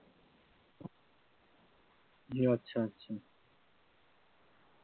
জি আচ্ছা আচ্ছা